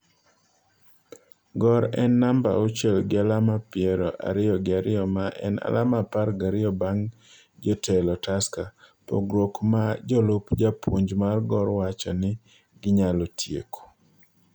Gor en namba auchiel gi alama ppiero ariyo gi ariyo ma en alama apar gariyo bang' jotelo Tusker, pogruok ma jalup japuonj mar Gor wacho ni ginyalo tieko.